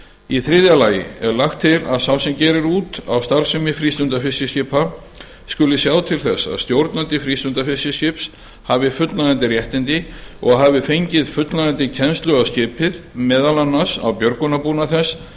í þriðja lagi er lagt til að sá sem gerir út á starfsemi frístundafiskiskipa skuli sjá til þess að stjórnandi frístundafiskiskips hafi fullnægjandi réttindi og hafi fengið fullnægjandi kennslu á skipið meðal annars á björgunarbúnað þess